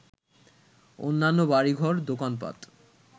অন্যান্য বাড়িঘর, দোকানপাট